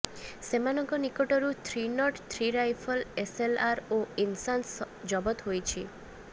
ସେମାନଙ୍କ ନିକଟରୁ three not three rifle SLR ଓ ଇନ୍ସାସ୍ ଜବତ ହୋଇଛି